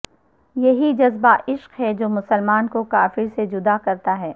یہی جذبہ عشق ہے جو مسلمان کو کافر سے جد ا کرتا ہے